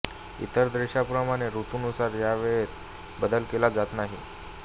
इतर देशांप्रमाणे ॠतूनुसार या वेळेत बदल केला जात नाही